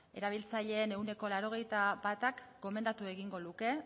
erabiltzaileen ehuneko laurogeita batak gomendatu egingo luke